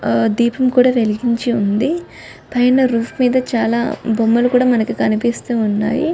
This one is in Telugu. దీపం కూడా వెలిగించి ఉంది పైన రూఫ్ మీద చాలా బొమ్మలు కూడా కనిపిస్తున్నాయి